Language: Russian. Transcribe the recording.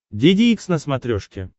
деде икс на смотрешке